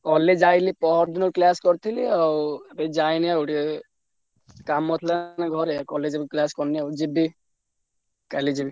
College ଯାଇଥିଲି ପହରଦିନ class କରିଥିଲି ଆଉ ଏଇ ଯାଇନି ଆଉ ଟିକେ କାମ ଥିଲା ତ ଘରେ college ରୁ class କରିନି ଆଉ ଯିବି କାଲି ଯିବି।